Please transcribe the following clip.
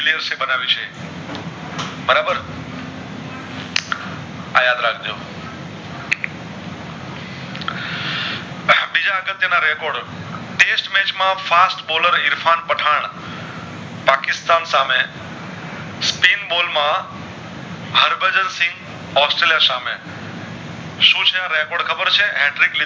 આ record test match માં fast boller Irfan Pathan Pakistan સામે Stream ball માં હરબદલ સિંહ ઑસ્ટ્રેલિયા સામે સુ છે આ record ખબર છે